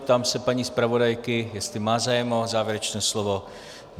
Ptám se paní zpravodajky, jestli má zájem o závěrečné slovo.